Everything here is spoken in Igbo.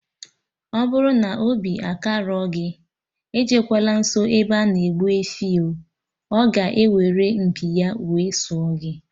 Ọbụrụ na obi akarọ gị, ejekwana nsọ ebe ana egbu efi oo, ọ ga-eweru mpi ya wee sụọ gị